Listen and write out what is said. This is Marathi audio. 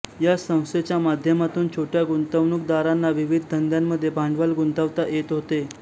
या संस्थेच्या माध्यमातून छोट्या गुंतवणूकदारांना विविध धंद्यांमध्ये भांडवल गुंतवता येत होते